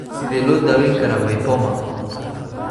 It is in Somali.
Sidee loo daweyn karaa VIPoma?